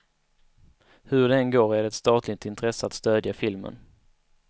Hur det än går är det ett statligt intresse att stödja filmen.